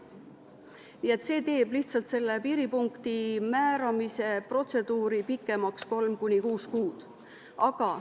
Nii et see teeb lihtsalt piiripunkti määramise protseduuri 3–6 kuud pikemaks.